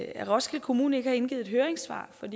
at roskilde kommune ikke har indgivet høringssvar for